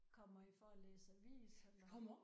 Kommer I for at læse avis eller?